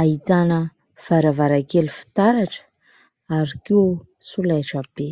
ahitana varavarankely fitaratra ary koa solaitra be.